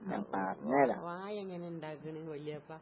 ഓ ഓ വാഴയെങ്ങനെ ഇണ്ടാക്കണെ വല്ല്യാപ്പാ.